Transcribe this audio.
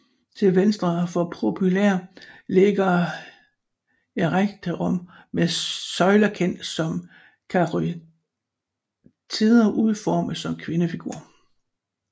Til venstre for Propylæa ligger Erechteum med søjler kendt som karyatider udformet som kvindefigurer